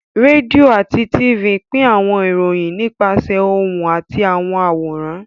Rédíò àti Tifì pín àwọn ìròyìn nípasẹ̀ ohùn àti àwọn àwòrán